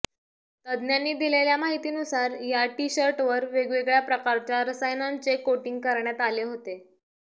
तज्ज्ञांनी दिलेल्या माहितीनुसार या टी शर्टवर वेगवेगळ्या प्रकारच्या रसायनांचे कोटिंग करण्यात आले होते